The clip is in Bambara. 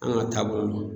An ka taabolo